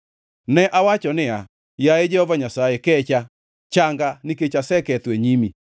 Ne awacho niya, “Yaye Jehova Nyasaye, kecha; changa, nikech aseketho e nyimi.”